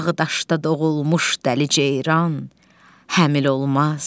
Dağdaşda doğulmuş dəliceyran həmil olmaz.